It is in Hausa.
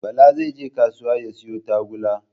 Bala zai je kasuwa ya siyo tagulla